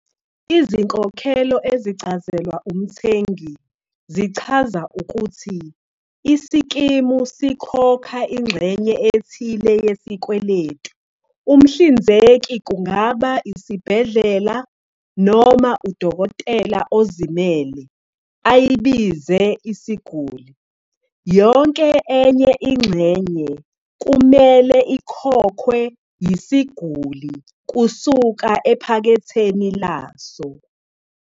Izinkokhelo ezicazelwa umthengi zichaza ukuthi isikimu sikhokha ingxenye ethile yesikweletu umhlinzeki kungaba isibhedlela noma udokotela ozimele - ayibize isiguli. Yonke enye ingxenye kumele ikhokhwe yisiguli kusuka ephaketheni laso.